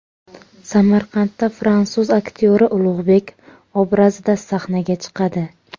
Samarqandda fransuz aktyori Ulug‘bek obrazida sahnaga chiqadi.